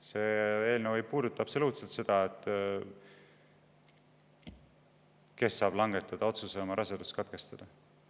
See eelnõu absoluutselt ei puuduta seda, kes saab langetada otsuse rasedus katkestada.